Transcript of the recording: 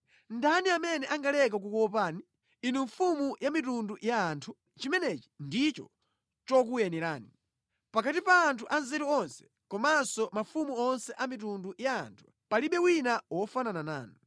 Ndani amene angaleke kukuopani, inu Mfumu ya mitundu ya anthu? Chimenechi ndicho chokuyenerani. Pakati pa anthu anzeru onse komanso mafumu onse a mitundu ya anthu, palibe wina wofanana nanu.